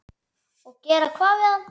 Og gera hvað við hann?